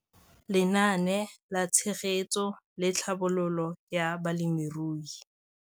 Lenaane la Tshegetso le Tlhabololo ya Balemirui